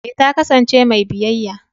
eh ta kasance mai biyayya.